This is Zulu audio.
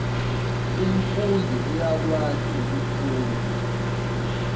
umfundi uyakwazi ukufunda